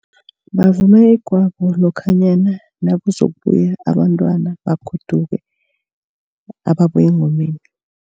Bavuma igwabo lokhanyana nakuzokubuya abantwana bagoduke ababuya engomeni.